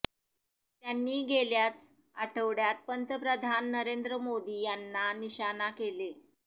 त्यांनी गेल्याच आठवड्यात पंतप्रधान नरेन्द्र मोदी यांना निशाणा केले